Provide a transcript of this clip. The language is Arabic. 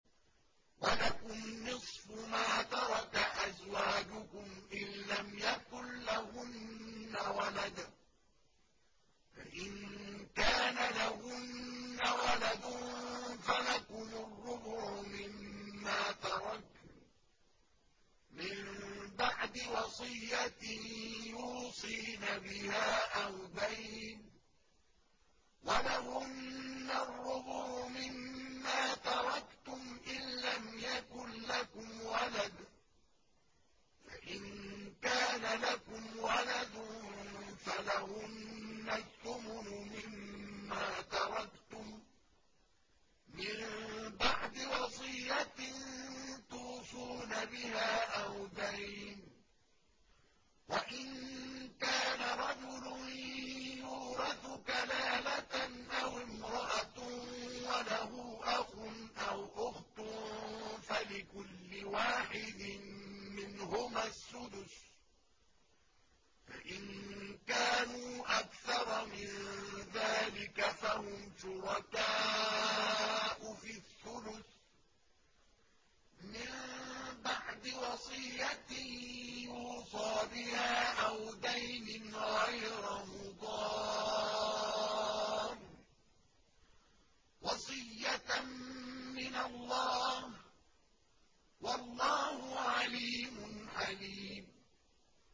۞ وَلَكُمْ نِصْفُ مَا تَرَكَ أَزْوَاجُكُمْ إِن لَّمْ يَكُن لَّهُنَّ وَلَدٌ ۚ فَإِن كَانَ لَهُنَّ وَلَدٌ فَلَكُمُ الرُّبُعُ مِمَّا تَرَكْنَ ۚ مِن بَعْدِ وَصِيَّةٍ يُوصِينَ بِهَا أَوْ دَيْنٍ ۚ وَلَهُنَّ الرُّبُعُ مِمَّا تَرَكْتُمْ إِن لَّمْ يَكُن لَّكُمْ وَلَدٌ ۚ فَإِن كَانَ لَكُمْ وَلَدٌ فَلَهُنَّ الثُّمُنُ مِمَّا تَرَكْتُم ۚ مِّن بَعْدِ وَصِيَّةٍ تُوصُونَ بِهَا أَوْ دَيْنٍ ۗ وَإِن كَانَ رَجُلٌ يُورَثُ كَلَالَةً أَوِ امْرَأَةٌ وَلَهُ أَخٌ أَوْ أُخْتٌ فَلِكُلِّ وَاحِدٍ مِّنْهُمَا السُّدُسُ ۚ فَإِن كَانُوا أَكْثَرَ مِن ذَٰلِكَ فَهُمْ شُرَكَاءُ فِي الثُّلُثِ ۚ مِن بَعْدِ وَصِيَّةٍ يُوصَىٰ بِهَا أَوْ دَيْنٍ غَيْرَ مُضَارٍّ ۚ وَصِيَّةً مِّنَ اللَّهِ ۗ وَاللَّهُ عَلِيمٌ حَلِيمٌ